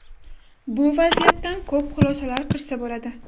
Bu vaziyatdan ko‘p xulosalar qilsa bo‘ladi.